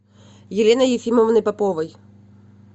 еленой ефимовной поповой